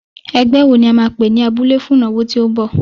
Ẹgbẹ́ wo ni a máa pè ní abúlé fún ìnáwó tí ó ń bọ̀?